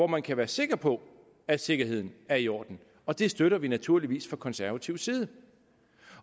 man kan være sikker på at sikkerheden er i orden og det støtter vi naturligvis fra konservativ side